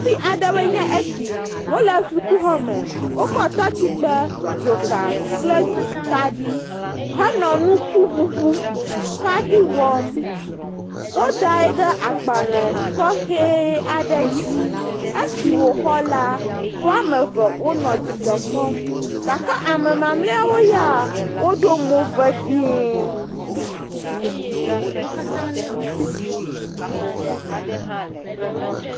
Sukuvi aɖewoe nye esi, wole sukuxɔme, wokɔ tɔtsikpe, dzoka kple kaɖi henɔ nukuŋuŋu kaɖi wɔm, wodae ɖe agbalẽ tɔxɛ aɖe dzi esi wò la, woame eve wonɔ dzidzɔ kpɔm gake ame mamleawo ya woɖo mo vevie.